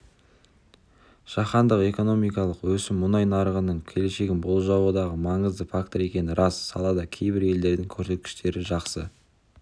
жаһандық экономикалық өсім мұнай нарығының келешегін болжаудағы маңызды фактор екені рас салада кейбір елдердің көрсеткіштері жақсы